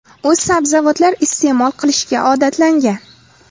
U sabzavotlar iste’mol qilishga odatlangan.